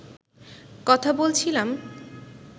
কথা বলছিলাম